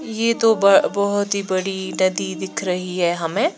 ये तो ब बहुत ही बड़ी नदी दिख रही है हमे--